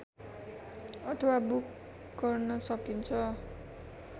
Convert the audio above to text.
अथवा बुक गर्न सकिन्छ